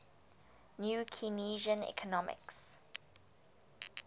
new keynesian economics